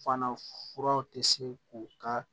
Fana furaw tɛ se k'u ka